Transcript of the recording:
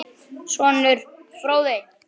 Sonur: Fróði.